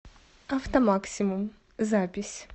автомаксимум запись